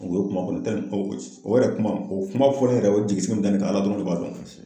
O ye o kuma fɔ, o yɛrɛ kuma o kuma fɔlen yɛrɛ o ye jigisigi mun da ne kan , ala dɔrɔn de b'a dɔn.